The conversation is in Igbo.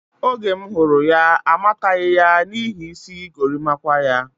Oge m hụrụ ya, amataghi ya n'ihi isi gorimakwa ya.